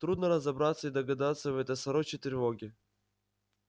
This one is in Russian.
трудно разобраться и догадаться в этой сорочьей тревоге